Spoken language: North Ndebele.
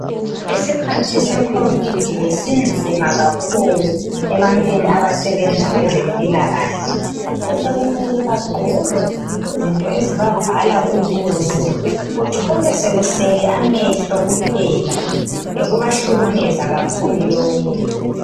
Isikhathi secovid besinzima kakhulu ebantwini abasebenza kwezempilakahle. Besekumele bagqoke izinto ezibavala ubuso, uthole sekusele amehlo kuphela. Bekubahlukumeza kakhulu lokhu.